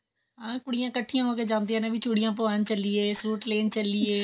ਹਾਂ ਕੁੜੀਆਂ ਇੱਕਠੀਆਂ ਹੋ ਕੇ ਜਾਂਦੀਆਂ ਨੇ ਵੀ ਚੂੜੀਆਂ ਪਵਾਉਣ ਚੱਲੀਏ ਸੂਟ ਲੈਣ ਚੱਲੀਏ